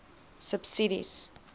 subsidies